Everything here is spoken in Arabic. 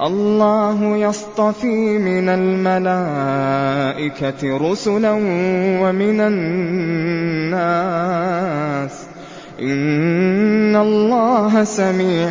اللَّهُ يَصْطَفِي مِنَ الْمَلَائِكَةِ رُسُلًا وَمِنَ النَّاسِ ۚ إِنَّ اللَّهَ سَمِيعٌ